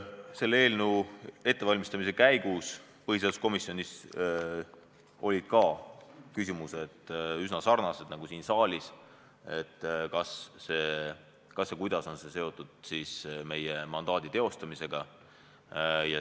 Selle eelnõu ettevalmistamise käigus põhiseaduskomisjonis olid ka küsimused üsna sarnased nagu siin saalis, näiteks, kas ja kuidas on see seotud meie mandaadi teostamisega.